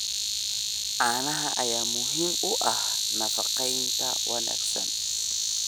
Caanaha ayaa muhiim u ah nafaqeynta wanaagsan.